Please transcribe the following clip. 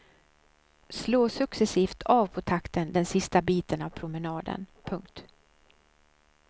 Slå successivt av på takten den sista biten av promenaden. punkt